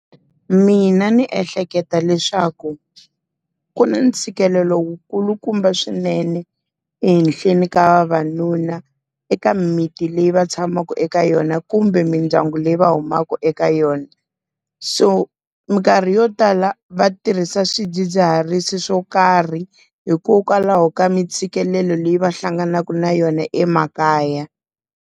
Mina ndzi ehleketa leswaku, ku na ntshikelelo wu kulukumba swinene ehenhleni ka vavanuna eka miti leyi va tshamaka eka yona kumbe mindyangu leyi va humaka eka yona. So minkarhi yo tala va tirhisa swidzidziharisi swo karhi, hikokwalaho ka mi ntshikelelo leyi va hlanganaka na yona emakaya.